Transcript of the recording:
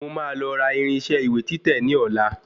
Mo máa lọ ra irinṣẹ́ ìwé títẹ̀ ní ọ̀la